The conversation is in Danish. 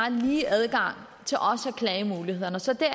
en lige adgang til klagemulighederne så det